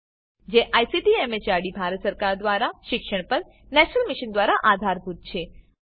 જેને ICT MHRD Bharat સરકાર મારફતે શિક્ષણ પર નેશનલ મિશન દ્વારા આધાર અપાયેલ છે